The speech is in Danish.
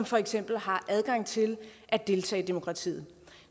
for eksempel har adgang til at deltage i demokratiet